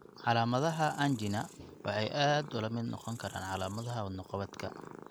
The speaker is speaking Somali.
Calaamadaha angina waxay aad ula mid noqon karaan calaamadaha wadno-qabadka.